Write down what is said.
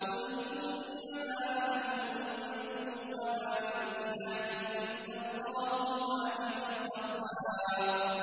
قُلْ إِنَّمَا أَنَا مُنذِرٌ ۖ وَمَا مِنْ إِلَٰهٍ إِلَّا اللَّهُ الْوَاحِدُ الْقَهَّارُ